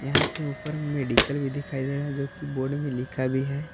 यहां पे ऊपर में मेडिकल भी दिखाई दे रहा है जो की बोर्ड में लिखा भी है।